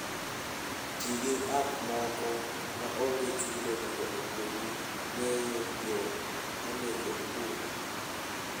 Ti gi app moko ma onge chudo mondo okonyi ng'eyo yo monego iluw.